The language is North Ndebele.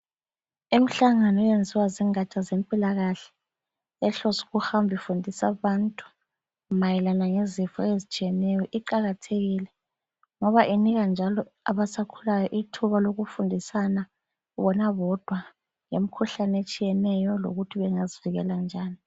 Imhlangano eyenziwa zingatsha zempilakahle ehlose ukuhamba ifundisa abantu mayelana lezifo ezitshiyeneyo iqakathekile ngoba inika njalo abasakhulayo ithuba lokufundisana bona bodwa ngemkhuhlane etshiyeneyo lokuthi bengazivikela njani.